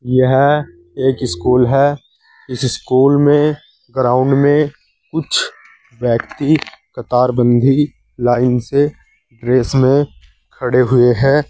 यह एक स्कूल है इस स्कूल में ग्राउंड में कुछ व्यक्ति कतारबंदी लाइन से ड्रेस में खड़े हुए हैं।